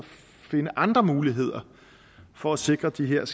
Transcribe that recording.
finde andre muligheder for at sikre de her